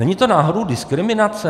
Není to náhodou diskriminace?